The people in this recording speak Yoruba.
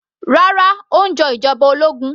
Rárá, ó ń jọ ìjọba ológun